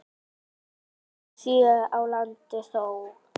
og sjö á landi þó.